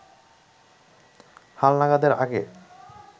হালনাগাদের আগে